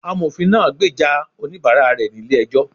Amofín naa gbeja onibààrá rẹ ni ílé ejó